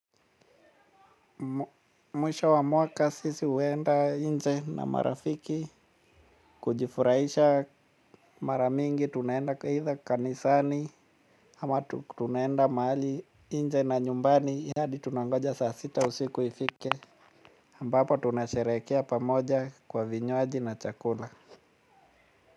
Mwisho wa mwaka sisi huenda nje na marafiki. Kujifurahisha mara mingi tunaenda aidha kanisani ama tunaenda mahali nje na nyumbani hadi tunangoja saa sita usiku ifike ambapo tunasherekea pamoja kwa vinywaji na chakula.